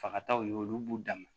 Fagataw ye olu b'u dan ma